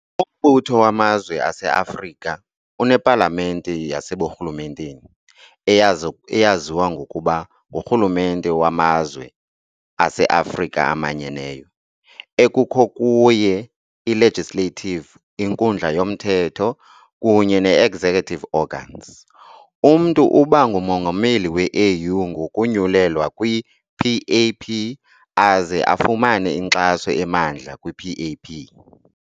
Umbutho wamazwe aseAfrika unepalamente yaseburhulumenteni, eyaziwa ngokuba nguRhulumente wamazwe aseAfrika emanyeneyo, ekukho kuye i-legislative, inkundla yomthetho, kunye nee-executive organs. Umntu uba nguMongameli we-AU ngokonyulelwa kwi-PAP, aze afumane inkxaso emandla kwi-PAP.